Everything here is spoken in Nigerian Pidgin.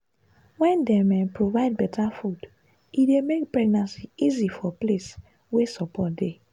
wen dem um provide better food e dey make pregnancy easy for place wey support dey.